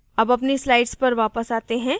अब अपनी slide पर वापस आते हैं